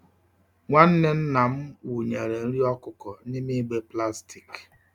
Nwanne nna m wunyere nri okuko n'ime igbe plastic.